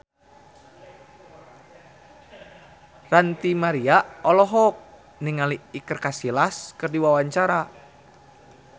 Ranty Maria olohok ningali Iker Casillas keur diwawancara